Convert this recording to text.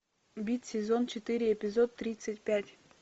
бит сезон четыре эпизод тридцать пять